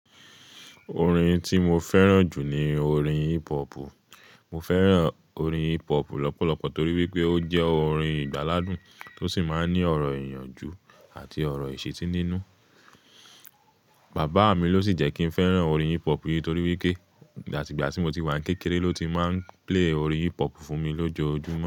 Orin tí mo fẹ́ràn jù ni orin hip hop. Mo fẹ́ràn orin hip hop lọ́pọ̀lọpọ̀ torí wípé ó jẹ́ orin ìgbàladùn tó sì máa ní ọ̀rọ̀ ìyànjú àti ọ̀rọ̀ ìṣetí nínú. Bàbá mi ló sì jẹ́ kí ń fẹ́ràn orin hip hop yìí torí wípé ìgbà tí ìgbà tí mo ti wà ní kékeré ló ti máa ń play orin hip hop fún mi lójó ojúmọ́